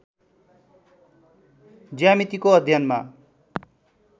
ज्यामितिको अध्ययनमा